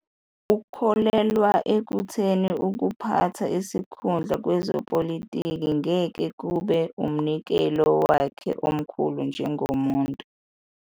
Ukholelwa ekutheni ukuphatha isikhundla kwezepolitiki ngeke kube "umnikelo wakhe omkhulu njengomuntu".